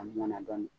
A mɔnɛna dɔɔni